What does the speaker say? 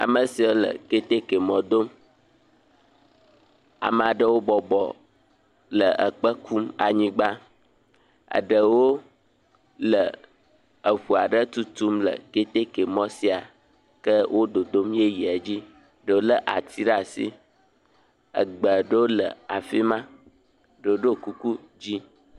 Me sia le keteke mɔ dom. Amaa ɖewo bɔɔb le ekpe kum anyigba. Eɖewo le eŋu aɖe tutum le keteke mɔ sia ke wo dodom yeyea dzi. Ɖewo lé ati ɖe asi. Egbe ɖewo le afi ma, ɖo ɖo kuku dzi.